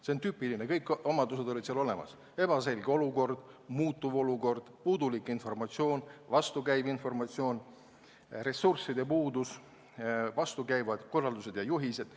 See oli tüüpiline kriis, kõik omadused olid olemas: ebaselge ja muutuv olukord, puudulik ja vastukäiv informatsioon, ressursside puudus, vastukäivad korraldused ja juhised.